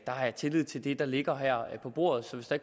har tillid til det der ligger her på bordet så hvis der